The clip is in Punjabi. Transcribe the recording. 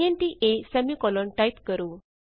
ਇੰਟ a ਟਾਈਪ ਕਰੋ